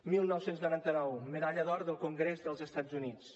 dinou noranta nou medalla d’or del congrés dels estats units